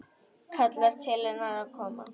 Kallar til hennar að koma.